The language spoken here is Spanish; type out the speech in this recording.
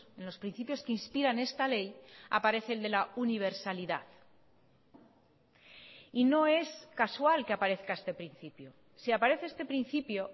en los principios que inspiran esta ley aparece el de la universalidad y no es casual que aparezca este principio si aparece este principio